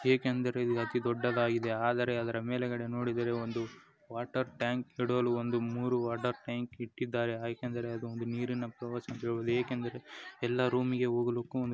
ಏಕೆಂದರೆ ಅತಿ ದೂಡ್ಡದಾಗಿದೆ ಅದರ ಮೇಲೆ ಗಡೆ ನುಡಿದರೆ ಒಂದು ಮೂರು ವಾಟರ್ ಟ್ಯಾಂಕ್ಗಳು ಇಟ್ಟಿದ್ದಾರೆ ಏಕೆಂದರೆ ಎಲ್ಲ ರೋಮಿ ಗೆ ಹೂಗಲು.